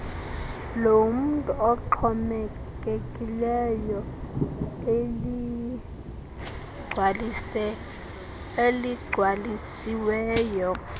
lomntu oxhomekekileyo eligcwalisiweyo